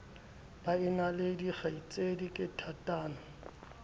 baena le dikgaitsedi ke thatano